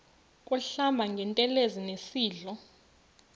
kuhlamba ngantelezi nasidlo